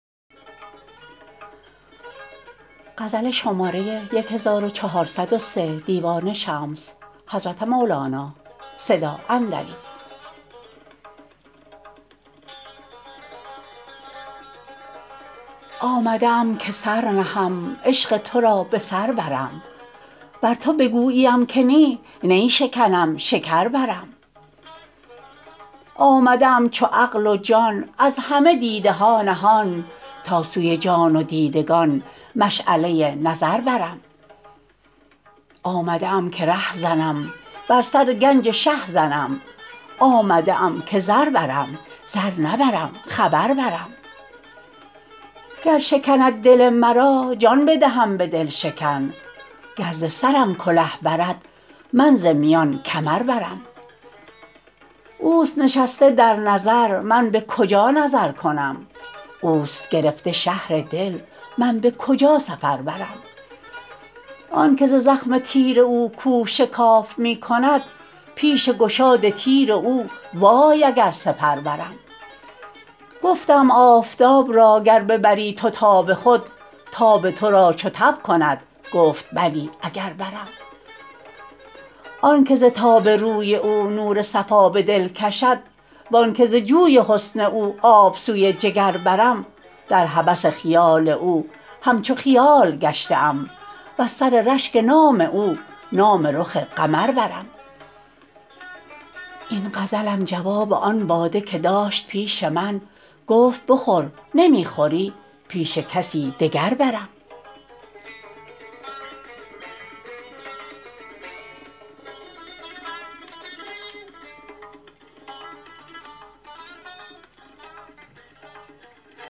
آمده ام که سر نهم عشق تو را به سر برم ور تو بگوییم که نی نی شکنم شکر برم آمده ام چو عقل و جان از همه دیده ها نهان تا سوی جان و دیدگان مشعله نظر برم آمده ام که ره زنم بر سر گنج شه زنم آمده ام که زر برم زر نبرم خبر برم گر شکند دل مرا جان بدهم به دل شکن گر ز سرم کله برد من ز میان کمر برم اوست نشسته در نظر من به کجا نظر کنم اوست گرفته شهر دل من به کجا سفر برم آنک ز زخم تیر او کوه شکاف می کند پیش گشاد تیر او وای اگر سپر برم گفتم آفتاب را گر ببری تو تاب خود تاب تو را چو تب کند گفت بلی اگر برم آنک ز تاب روی او نور صفا به دل کشد و آنک ز جوی حسن او آب سوی جگر برم در هوس خیال او همچو خیال گشته ام وز سر رشک نام او نام رخ قمر برم این غزلم جواب آن باده که داشت پیش من گفت بخور نمی خوری پیش کسی دگر برم